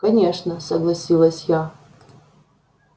конечно согласилась я